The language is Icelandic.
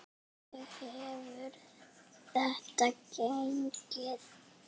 Hvernig hefur þetta gengið?